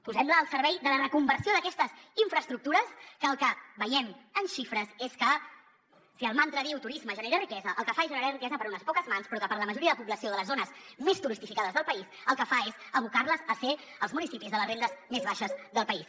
posem la al servei de la reconversió d’aquestes infraestructures que el que veiem en xifres és que si el mantra diu turisme genera riquesa el que fa és generar riquesa per a unes poques mans però que per a la majoria de població de les zones més turístificades del país el que fa és abocar les a ser els municipis de les rendes més baixes del país